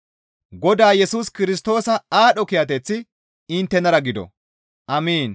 Godaa Yesus Kirstoosa aadho kiyateththi inttenara gido. Amiin.